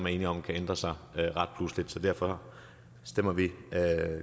er enige om kan ændre sig ret pludseligt så derfor